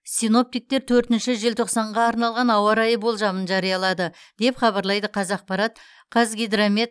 синоптиктер төртінші желтоқсанға арналған ауа райы болжамын жариялады деп хабарлайды қазақпарат қазгидромет